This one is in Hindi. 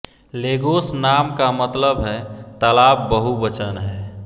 लेगोस नाम का मतलब है तालाब बहुवचन है